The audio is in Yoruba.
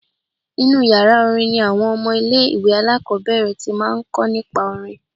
Inú yàrá orin ni àwọn ọmọ ilé-ìwé alákọ́bẹ̀rẹ̀ ti máa ń kọ́ nípa orin